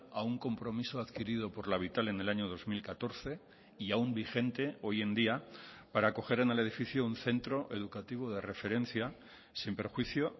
a un compromiso adquirido por la vital en el año dos mil catorce y aún vigente hoy en día para acoger en el edificio un centro educativo de referencia sin perjuicio